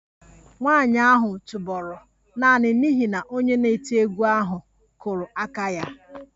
Nwanyị ahụ tụbọrọ naanị n'ihi na onye na-eti egwu ahụ kụrụ aka ya